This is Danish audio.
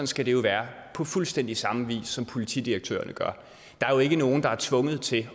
skal det jo være på fuldstændig samme vis som politidirektørerne gør der er jo ikke nogen der er tvunget til